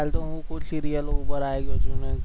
હાલ તો હું serial ઓ ઉપર આયો છું